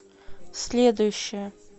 следующая